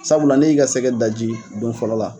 Sabula n'e y'i ka sɛgɛ daji don fɔlɔ la.